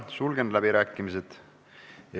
Sulgen läbirääkimised.